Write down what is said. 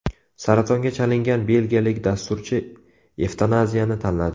Saratonga chalingan belgiyalik dasturchi evtanaziyani tanladi.